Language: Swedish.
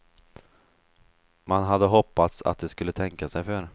Man hade hoppats att de skulle tänka sig för.